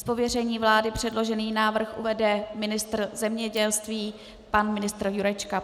Z pověření vlády předložený návrh uvede ministr zemědělství pan ministr Jurečka.